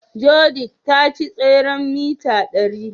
Judith ta ci tseren mita ɗari.